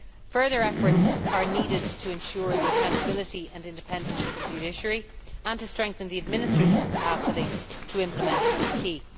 Further efforts are needed to ensure the accountability and independence of the judiciary and to strengthen the administrative capacity to implement the acquis.